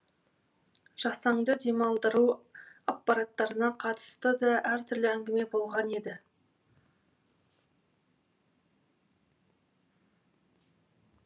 жасанды демалдыру аппараттарына қатысты да әртүрлі әңгіме болған еді